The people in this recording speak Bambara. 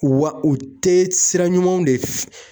Wa u tɛ sira ɲumanw de